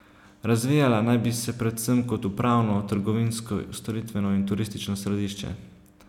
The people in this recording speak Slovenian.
Razvijala naj bi se predvsem kot upravno, trgovinsko, storitveno in turistično središče.